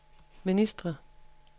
ministre